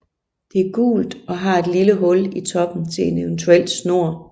Det er gult og har et lille hul i toppen til en eventuel snor